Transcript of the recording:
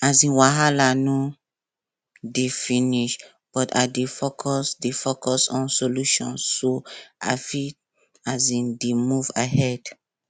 um wahala no dey finish but i dey focus dey focus on solution so i fit um dey move ahead